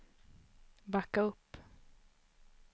backa upp